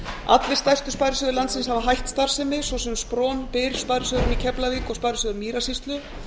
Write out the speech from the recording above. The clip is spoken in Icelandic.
allir stærstu sparisjóðir landsins hafa hætt starfsemi svo sem spron byr sparisjóðurinn í keflavík og sparisjóður mýrasýslu